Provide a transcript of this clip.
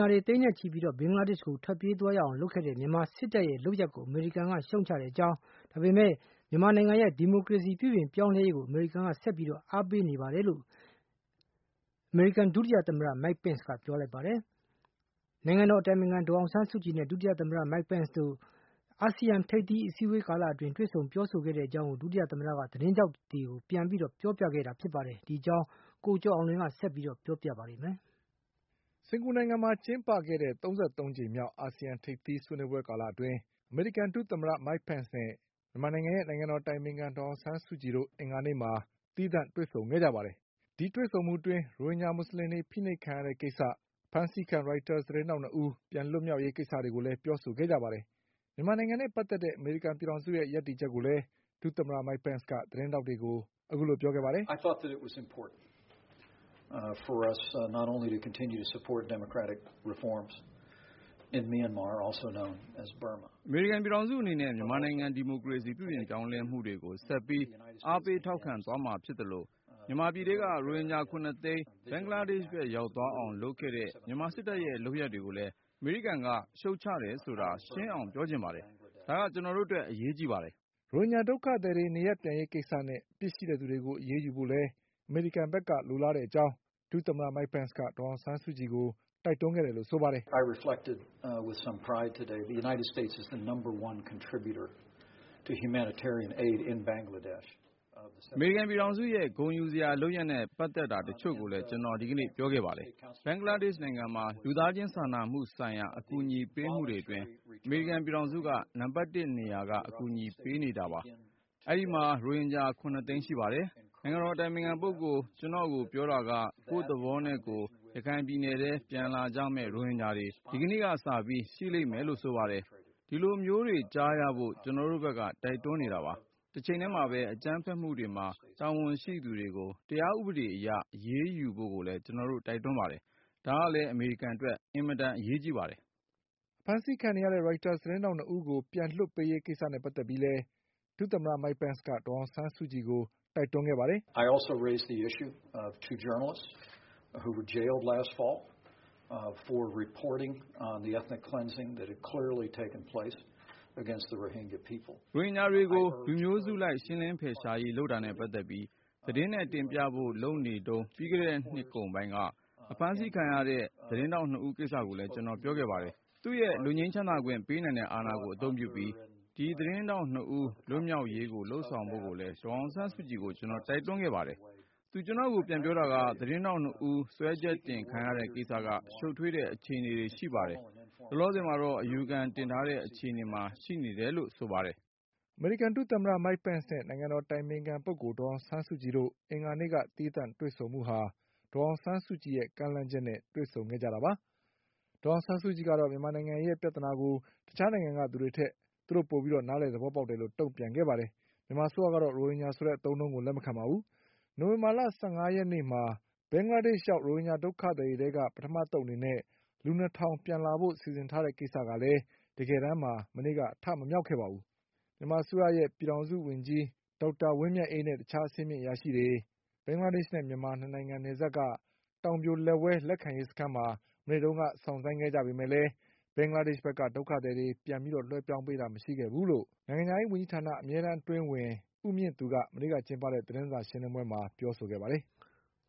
ာတွေ သိန်းနဲ့ ချီပြီး ဘင်္ဂလားဒေ့ချ်ဘက်ထွက်ပြေးသွားရအောင် လုပ်ခဲ့တဲ့မြန်မာစစ်တပ်ရဲ့ လုပ်ရပ်တွေကိုလည်း အမေရိကန်က အပြစ်တင်ရှုတ်ချတယ်လို့ အမေရိကန်ဒုသမ္မတ Mike Pence ကပြောလိုက်ပါတယ်။ နိုင်ငံတော် အတိုင်ပင်ခံ ဒေါ်အောင်ဆန်းစုကြည်နဲ့ ဒုသမ္မတ Mike Pence တို့ အာဆီယံထိပ်သီးအစည်းအဝေး ကာလ အတွင်း တွေ့ဆုံပြောဆိုခဲ့ကြတဲ့အကြောင်းကို ဒုသမ္မတ Mike Penceက သတင်းထောက်တွေကို ပြန်ပြောပြခဲ့ ပါတယ်။ ဒီအကြောင်း ကိုကျော်အောင်လွင်က တင်ပြပေးထားပါတယ်။ စင်္ကာပူနိုင်ငံမှာကျင်းပခဲ့တဲ့ ၃၃ ကြိမ်မြောက်အာဆီယံထိပ်သီးဆွေးနွေးပွဲကာလအတွင်း အမေရိကန် ဒုသမ္မတ Mike Pence နဲ့ ဒေါ်အောင်ဆန်းစုကြည်တို့ အင်္ဂါနေ့မှာသီးသန့်တွေ့ဆုံခဲ့ကြပါတယ်။ ဒီတွေ့ဆုံမှုအတွင်း ရိုဟင်ဂျာ မူဆလင်တွေ ဖိနှိပ်ခံရတဲ့ကိစ္စ၊ ဖမ်းဆီးခံရိုက်တာသတင်းထောက် ၂ ဦး လွတ်မြောက်ရေးကိစ္စတွေ ကိုလည်း ပြောဆိုခဲ့ကြပါတယ်။ မြန်မာနိုင်ငံနဲ့ပတ်သက်တဲ့ အမေရိကန် ပြည်ထောင်စုရဲ့ရပ်တည်ချက်ကိုလည်း ဒုသမ္မတ Mike Penceက သတင်းထောက်တွေကို ပြောခဲ့ပါတယ်။ “အမေရိကန်ပြည်ထောင်စုအနေနဲ့ မြန်မာနိုင်ငံဒီမိုကရေစီပြုပြင်ပြောင်းလဲမှုတွေကို ဆက်ပြီး အားပေး ထောက်ခံ သွားမှာ ဖြစ်သလို မြန်မာပြည်ထဲက ရိုဟင်ဂျာ ၇ သိန်း ဘင်္ဂလားဒေ့ချ်ဘက် ရောက်သွားအောင်လုပ်ခဲ့တဲ့ မြန်မာ စစ်တပ်ရဲ့လုပ်ရပ်တွေကိုလည်း အမေရိကန်က ရှုတ်ချတယ် ဆိုတာ ရှင်းအောင်ပြောချင်ပါတယ်။ ဒါက ကျနော်တို့အတွက် အရေးကြီးပါတယ်။” ရိုဟင်ဂျာဒုက္ခသည်တွေနေရပ်ပြန်ရေးကိစ္စနဲ့ အပြစ်ရှိသူတွေကိုအရေးယူဖို့လည်းအမေရိကန်ဘက်က လိုလားတဲ့ အကြောင်း ဒုသမ္မတ Mike Penceက ဒေါ်အောင်ဆန်းစုကြည်ကို တိုက်တွန်းခဲ့တယ်လို့ ဆိုပါတယ်။ “အမေရိကန်ပြည်ထောင်စုရဲ့ဂုဏ်ယူစရာလုပ်ရပ်နဲ့ပတ်သက်တာတချို့ကိုလည်း ကျနော် ဒီကနေ့ ပြောခဲ့ပါတယ်။ ဘင်္ဂလားဒေ့ချ်နိုင်ငံမှာ လူသားချင်းစာနာမှုဆိုင်ရာအကူအညီပေးမှုတွေအတွင်း အမေရိကန်ပြည်ထောင်စုက နံပါတ်တစ်နေရာက အကူအညီပေးနေတာပါ။ အဲဒီမှာရိုဟင်ဂျာ ၇ သိန်း ရှိပါတယ်။ နိုင်ငံတော်အတိုင်ပင်ခံပုဂ္ဂိုလ် ကျနော့်ကိုပြောတာက ကိုယ့်သဘောနဲ့ကိုယ် ရခိုင်ပြည်နယ်ထဲ ပြန်လာကြမယ့်ရိုဟင်ဂျာတွေ ဒီကနေ့စပြီး ရှိလိမ့်မယ်လို့ ဆိုပါတယ်။ ဒီလိုမျိုးတွေ ကြားရဖို့ ကျနော်တို့ဘက်ကတိုက်တွန်းနေတာပါ။ တချိန်တည်းမှာပဲ အကြမ်းဖက်မှုတွေမှာ တာဝန်ရှိ သူတွေကို တရားဥပဒေအရအရေး ယူဖို့ကိုလည်း ကျနော်တို့တိုက်တွန်းပါတယ်။ ဒါကလည်း အမေရိကန် အတွက် အင်မတန်အရေးကြီးပါတယ်။” အဖမ်းခံနေရတဲ့ ရိုက်တာစ်သတင်းထောက် ၂ ဦးကိုပြန်လွှတ်ပေးရေးကိစ္စလည်း ဒုသမ္မတ Mike Penceက ဒေါ်အောင်ဆန်း စုကြည်ကိုတိုက်တွန်းခဲ့ပါတယ်။ “ရိုဟင်ဂျာတွေကို လူမျိုးစုလိုက်ရှင်းလင်းဖယ်ရှားရေးလုပ်တာနဲ့ပတ်သက်ပြီး သတင်းနဲ့တင်ပြဖို့ လုပ်နေတုန်း ပြီးခဲ့တဲ့နှစ်ကုန်ပိုင်းကအဖမ်းခံခဲ့ကြရတဲ့ သတင်းထောက် ၂ ဦးကိစ္စကိုလည်း ကျနော် ပြောခဲ့ပါတယ်။ သူ့ရဲ့ လွတ်ငြိမ်းချမ်းသာခွင့်ပေးနိုင်တဲ့အာဏာကိုအသုံးပြုပြီး ဒီသတင်းထောက် ၂ ဦး လွတ်မြောက်ရေးကို လုပ် ဆောင်ဖို့လည်း ဒေါ်အောင်ဆန်းစုကြည်ကို ကျနော်တိုက်တွန်းခဲ့ပါတယ်။ သူ ကျနော့်ကိုပြန်ပြောတာက သတင်းထောက် ၂ ဦးစွဲချက်တင်ခံရတဲ့ကိစ္စက ရှုပ်ထွေးတဲ့ အခြေအနေတွေရှိတယ်။ လောလောဆယ်မှာတော့ အယူခံတင်ထားတဲ့ အခြေအနေမှာ ရှိနေတယ်လို့ ဆိုပါတယ်။” အမေရိကန်ဒုသမ္မတ Mike Penceနဲ့နိုင်ငံတော်အတိုင်ပင်ခံဒေါ်အောင်ဆန်းစုကြည်တို့ အင်္ဂါနေ့က သီးသန့် တွေ့ဆုံမှုဟာ ဒေါ်အောင်ဆန်းစုကြည်ရဲ့ ကမ်းလှမ်းချက်နဲ့တွေ့ဆုံခဲ့ကြတာပါ။ ဒေါ်အောင်ဆန်းစုကြည်ကတော့ မြန်မာနိုင်ငံရဲ့ပြဿနာကို တခြားနိုင်ငံကထက် သူတို့ပိုပြီးနားလည် သဘောပေါက်တယ်လို့ တုံ့ပြန်ခဲ့ပါတယ်။ မြန်မာအစိုးရကတော့ ရိုဟင်ဂျာဆိုတဲ့အသုံးအနှုန်းကို လက်မခံပါဘူး။ နိုဝင်ဘာလ ၁၅ ရက်နေ့မှာ ဘင်္ဂလား ဒေ့ချ်ရောက် ရိုဟင်ဂျာဒုက္ခသည်တွေထဲက ပထမအသုတ်အနေနဲ့ လူ ၂ ထောင်ပြန်လာဖို့ အစီအစဉ် ကလည်း တကယ်တန်းမှာ အထမမြောက် ခဲ့ပါဘူး။ မြန်မာအစိုးရ ပြည်ထောင်စုဝန်ကြီး ဒေါက်တာဝင်းမြတ်အေးနဲ့ တခြား အဆင့်မြင့် အရာရှိတွေ တောင်ပြိုလက်ဝဲလက်ခံရေးစခန်းမှာ မနေ့ကစောင့်ဆိုင်းခဲ့ကြပေမဲ့ ဘင်္ဂလားဒေ့ချ်ဘက် က ဒုက္ခသည်တွေပြန်ပြီးလွှဲပြောင်းပေးတာမရှိခဲ့ဘူးလို့ မြန်မာအစိုးရရဲ့ နိုင်ငံခြားရေးဝန်ကြီးဌာန အမြဲတမ်း အတွင်းဝန် ဦးမြင့်သူက မနေ့ကကျင်းပတဲ့ သတင်းစာရှင်းလင်းပွဲမှာပြောခဲ့ပါတယ်။